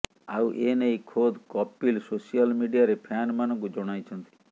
ଆଉ ଏନେଇ ଖୋଦ୍ କପିଲ ସୋସିଆଲ ମିଡିଆରେ ଫ୍ୟାନମାନଙ୍କୁ ଜଣାଇଛନ୍ତି